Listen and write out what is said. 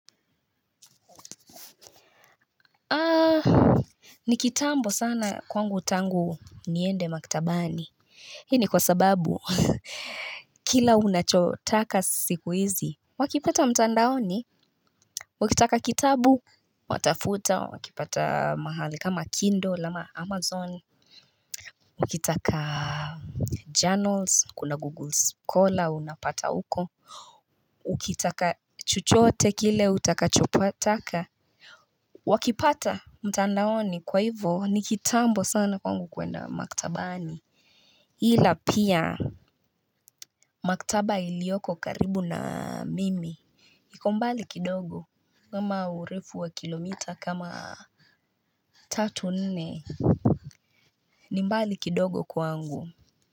Ni kitambo sana kwangu tangu niende maktabani hii ni kwa sababu. Kila unachotaka siku hizi wakipata mtandaoni. Ukitaka kitabu watafuta wakipata mahali kama Kindle ama Amazon. Ukitaka journals kuna Google Scholar unapata huko. Ukitaka chochote kile utakachopataka. Wakipata mtandaoni kwa hivyo ni kitambo sana kwangu kwenda maktabani. Ila pia maktaba iliyoko karibu na mimi. Iko mbali kidogo kama urefu wa kilomita kama tatu, nne. Ni mbali kidogo kwangu.